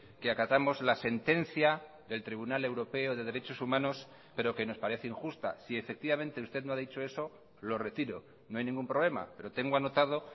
que acatamos la sentencia del tribunal europeo de derechos humanos pero que nos parece injusta si efectivamente usted no ha dicho eso lo retiro no hay ningún problema pero tengo anotado